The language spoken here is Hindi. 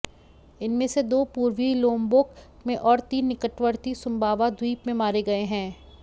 इनमें से दो पूर्वी लोमबोक में और तीन निकटवर्ती सुंबावा द्वीप में मारे गए हैं